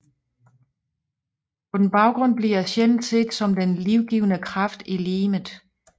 På den baggrund bliver sjælen set som den livgivende kraft i legemet